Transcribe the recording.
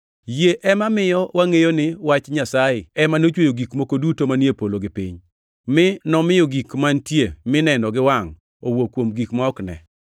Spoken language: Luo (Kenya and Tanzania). Yie ema miyo wangʼeyo ni Wach Nyasaye ema nochweyo gik moko duto manie polo gi piny, mi nomiyo gik mantie mineno gi wangʼ owuok kuom gik ma ok ne.